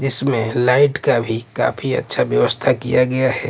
जिसमें लाइट का भी काफी अच्छा व्यवस्था किया गया है।